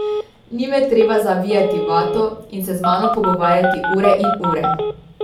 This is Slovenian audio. Ni me treba zavijati v vato in se z mano pogovarjati ure in ure.